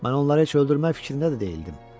Mən onları heç öldürmək fikrində də deyildim.